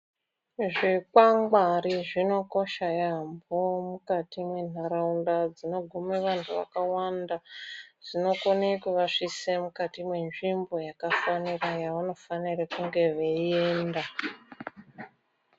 Zvingwangwari zvinokosha yambo mukati mendaraunda dzinoguma vantu vakawanda zvinokone kuvakiswa mukati yenzvimbo yakafanira yavanofanira kunge veienda.